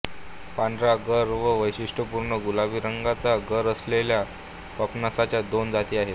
पांढरा गर किंवा वैशिष्ट्यपूर्ण गुलाबी रंगाचा गर असलेल्या पपनसाच्या दोन जाती आहेत